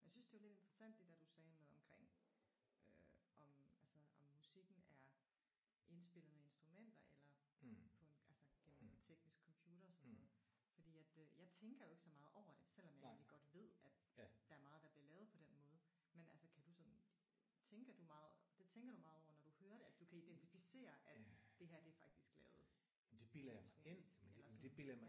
Jeg syntes det var lidt interessant det der du sagde med omkring øh om altså om musikken er indspillet med instrumenter eller på en altså gennem noget teknisk computer sådan noget fordi at øh jeg tænker ikke så meget over det selvom jeg godt ved der er meget der bliver lavet på den måde. Men altså kan du sådan tænker du meget det tænker du meget over det når du hører det at du kan identificere at det her det er faktisk lavet elektronisk eller sådan noget?